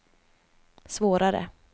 svårare